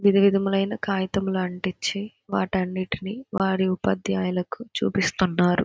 విది విధములైన కాగితం లాంటిచ్చి వాటన్నిటిని వారి ఉపాధ్యాయులకు చూపిస్తున్నారు.